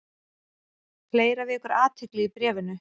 Fleira vekur athygli í bréfinu.